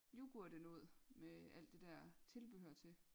yoghurtenoget med alt det dér tilbehør til